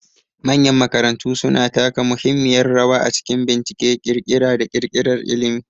Manyan makarantu suna taka muhimmiyar rawa a cikin bincike, ƙirƙira, da ƙirƙirar ilimi.